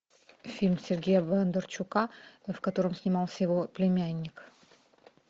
фильм сергея бондарчука в котором снимался его племянник